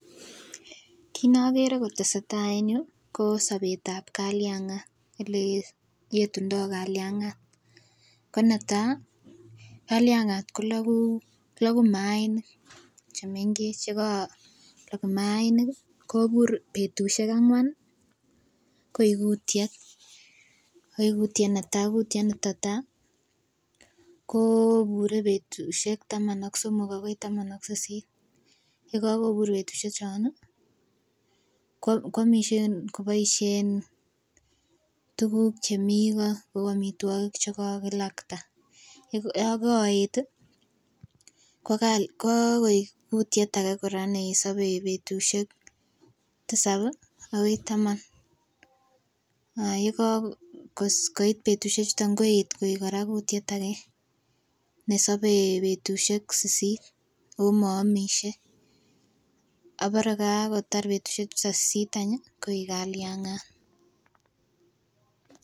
Kit nokere kotesetai en yuu ko sobet tab kaliangat ele yetundo kaliangat ko netai kaliangat ko loku mainik chemenkech, yekolok mainik kii kobur betushek angwan nii koik kutyet koik kutyet netai kutyet netai koo bure betushek taman ak somok akoi taman ak sisit yekokobur betushek chon nii kwomishe koboishen tukuk chemii koo kou omitwokik chekakilakta yon koet tii kokal ko kikoik kutyet age koraa nesobe betushek tisab akoi taman ak yekokoit betushek chuton koet Koraa koik kutyet age nesobe betushek sisit omoomishe obore kakotar betushek chuton sisit tach nyi koik kaliangat.